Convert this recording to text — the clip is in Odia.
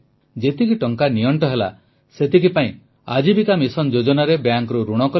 ଯେତିକି ଟଙ୍କା ନିଅଂଟ ହେଲା ସେତିକି ପାଇଁ ଆଜୀବିକା ମିଶନ ଯୋଜନାରେ ବ୍ୟାଙ୍କରୁ ଋଣ କଲେ